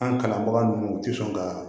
An kalanbaga nunnu u ti sɔn ka